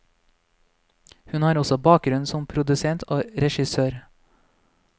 Hun har også bakgrunn som produsent og regissør.